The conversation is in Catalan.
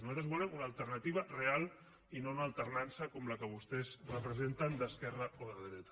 nosaltres volem una alternativa real i no una alternança com la que vostès representen d’esquerra o de dreta